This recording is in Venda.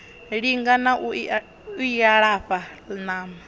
linga na u ilafha ṋama